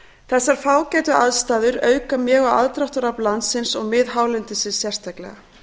þessar fágætu aðstæður auka mjög á aðdráttarafl landsins og miðhálendisins sérstaklega